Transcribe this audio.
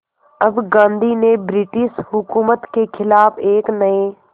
अब गांधी ने ब्रिटिश हुकूमत के ख़िलाफ़ एक नये